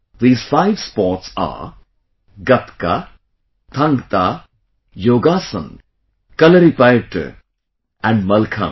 These five sports are Gatka, Thang Ta, Yogasan, Kalaripayattu and Mallakhamb